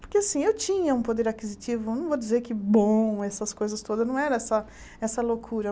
Porque eu tinha um poder aquisitivo, não vou dizer que bom, essas coisas todas, não era essa essa loucura.